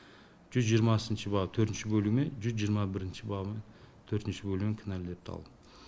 жүз жиырмасыншы бап төртінші бөлігімен жүз жиырма бірінші бап төртінші бөлігімен кінәлі деп танылды